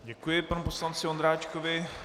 Děkuji panu poslanci Ondráčkovi.